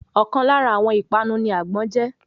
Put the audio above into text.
Ọ̀kan lára àwọn ìpanu ní àgbọ́n je